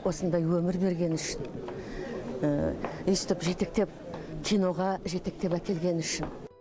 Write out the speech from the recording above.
осындай өмір бергені үшін өйстіп киноға жетектеп әкелгені үшін